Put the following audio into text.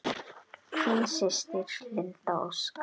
Þín systir, Linda Ósk.